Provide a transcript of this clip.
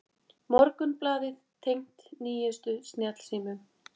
Morgunblaðið tengt nýjustu snjallsímum